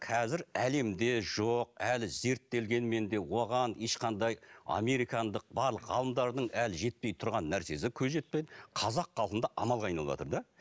қазір әлемде жоқ әлі зерттелгенмен де оған ешқандай американдық барлық ғалымдардың әлі жетпей тұрған нәрсесі қазақ халқында амалға айналыватыр да